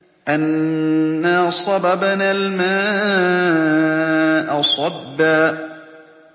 أَنَّا صَبَبْنَا الْمَاءَ صَبًّا